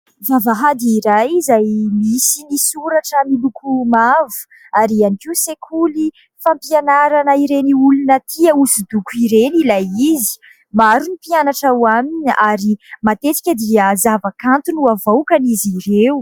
Vavahady iray izay misy ny soratra miloko mavo ary ihany koa sekoly fampianarana ireny olona tia hosodoko ireny ilay izy. Maro ny mpianatra ao aminy ary matetika dia zava-kanto no avoakan' izy ireo.